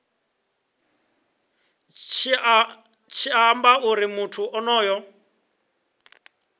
tshi amba uri muthu onoyo